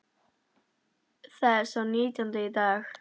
Það er sá nítjándi í dag.